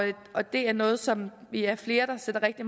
det er noget som vi er flere der sætter rigtig